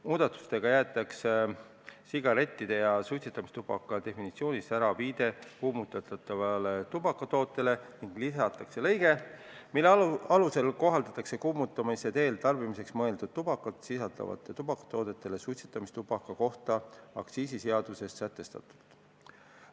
Muudatustega jäetakse sigarettide ja suitsetamistubaka definitsioonis ära viide kuumutatavale tubakatootele ning lisatakse lõige, mille alusel kohaldatakse kuumutamise teel tarbimiseks mõeldud tubakat sisaldavatele tubakatoodetele aktsiisiseaduses suitsetamistubaka kohta sätestatut.